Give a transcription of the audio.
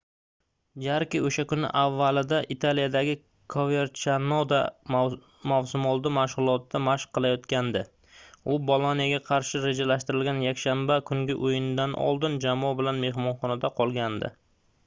jarke o'sha kun avvalida italiyadagi koverchanoda mavsumoldi mashg'ulotida mashq qilayotgandi. u boloniya"ga qarshi rejalashtirilgan yakshanba kungi o'yindan oldin jamoa bilan mehmonxonada qolgandi